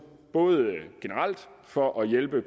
både generelt for at hjælpe